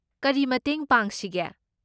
ꯀꯔꯤ ꯃꯇꯦꯡ ꯄꯥꯡꯁꯤꯒꯦ?